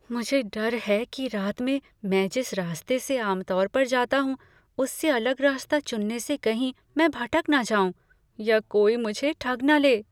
मुझे डर है कि रात में मैं जिस रास्ते से आम तौर पर जाता हूँ, उससे अलग रास्ता चुनने से कहीं मैं भटक न जाऊं या कोई मुझे ठग न ले।